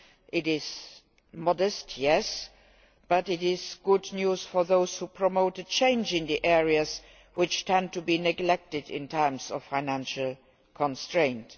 This is modest, yes, but it is good news for those who promote a change in the areas which tend to be neglected in times of financial constraint.